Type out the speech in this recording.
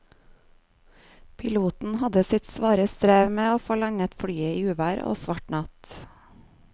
Piloten hadde sitt svare strev med å få landet flyet i uvær og svart natt.